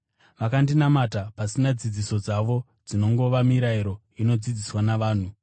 Vanondinamata pasina; dzidziso dzavo dzinongova mirayiro inodzidziswa navanhu.’